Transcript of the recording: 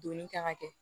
Donni kan ka kɛ